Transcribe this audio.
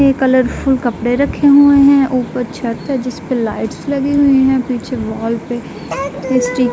Colourful कपड़े रखे हुए हैं ऊपर छत है जिस पर लाइटस लगी हुई हैं। पीछे वॉल पे स्टि --